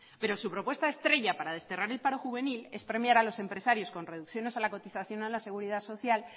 pero su propuesta estrella para desterrar el paro juvenil es premiar a los empresarios con reducciones a la cotización a la seguridad social